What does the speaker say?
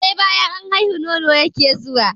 Sai banyan an haihu, nono yake zuwa.